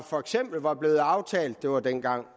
for eksempel var blevet aftalt det var dengang